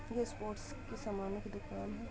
ये स्पोर्ट की सामानो की दुकान है।